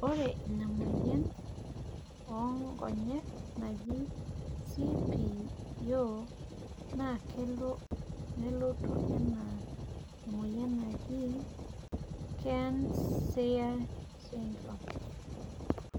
ore iina moyian oo nkonyek naji CPEO naa kelo nelotu anaa ae moyian najii Kearns Sayre syndrome.